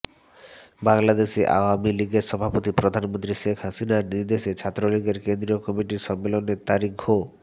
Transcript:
বাংলাদেশ আওয়ামী লীগের সভাপতি প্রধানমন্ত্রী শেখ হাসিনার নির্দেশে ছাত্রলীগের কেন্দ্রীয় কমিটির সম্মেলনের তারিখ ঘো